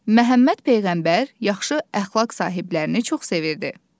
Məhəmməd peyğəmbər yaxşı əxlaq sahiblərini çox sevirdi.